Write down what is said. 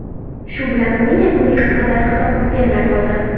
Shu bilan o‘yin yakuniga qadar hisob o‘zgarmay qoldi.